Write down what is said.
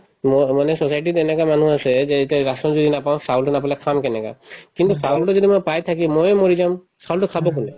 ম‍‍ মানে society ত এনেকুৱা মানুহো আছে যে এতিয়া rasan যদি নাপাওঁ চাউলতো নাপালে খাম কেনেকে কিন্তু চাউলতো যদি মই পাই থাকিম ময়ে মৰি যাম চাউলতো খাব কোনে